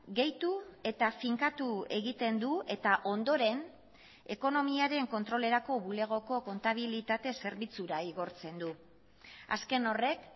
gehitu eta finkatu egiten du eta ondoren ekonomiaren kontrolerako bulegoko kontabilitate zerbitzura igortzen du azken horrek